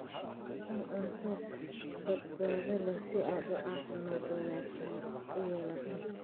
Cun cunto badbaado leh si aad caafimaad wanaagsan u yeelato.